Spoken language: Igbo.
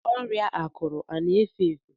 Ọrịa akuru ọ na efe efe?